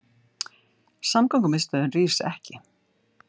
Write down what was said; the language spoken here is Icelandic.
Samgöngumiðstöðin rís ekki